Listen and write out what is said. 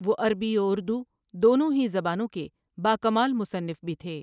وہ عربی و اردو، دونوں ہی زبانوں کے باکمال مصنف بھی تھے ۔